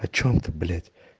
о чём ты блять